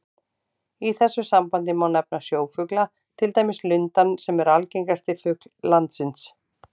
Í þessu sambandi má nefna sjófugla, til dæmis lundann sem er algengasti fugl landsins.